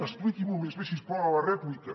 expliqui’m ho més bé si us plau a la rèplica